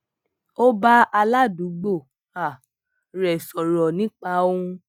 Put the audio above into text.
ó bá aládùúgbò um rè kan sòrò nípa ohun